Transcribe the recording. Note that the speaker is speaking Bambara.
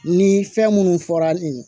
Ni fɛn minnu fɔra nin ye